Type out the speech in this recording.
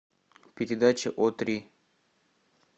передача о три